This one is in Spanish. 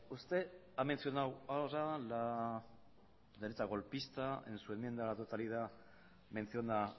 usted ha mencionado a la derecha golpista en su enmienda a la totalidad menciona